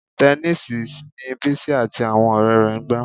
Tẹníìsì ni Bísí àti àwọn ọ̀rẹ́ rẹ̀ ń gbá